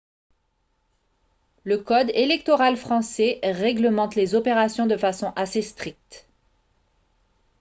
le code électoral français réglemente les opérations de façon assez stricte